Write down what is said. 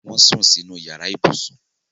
Wọ́n sùn sínú yàrá ibùsùn